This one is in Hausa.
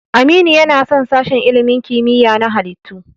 Aminu yana son sashen ilimin kimiyya na halittu.